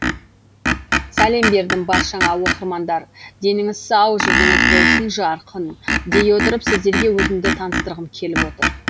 сәлем бердім баршаңа оқырмандар деніңіз сау жүзіңіз болсын жарқын дей отырып сіздерге өзімді таныстырғым келіп отыр